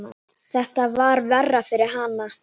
Þetta var verra fyrir hana.